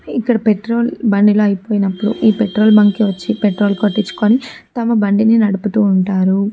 ఇక్కడ పెట్రోల్ బండిలో అయిపోయినప్పుడు ఈ పెట్రోల్ బంకి వచ్చిపెట్రోల్ పట్టించుకోని తమ బండిని నడుపుతూ ఉంటారు.